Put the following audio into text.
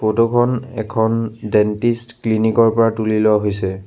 Photo খন এখন dentist clinic ৰ পৰা তুলি লোৱা হৈছে।